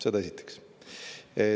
Seda esiteks.